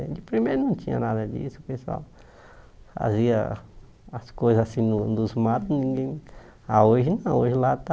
De primeiro não tinha nada disso, o pessoal fazia as coisas assim nos nos matos, ninguém... Ah, hoje não, hoje lá está...